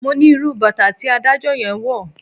Mo ní irú bàtà tí adájọ́ yẹn wọ̀.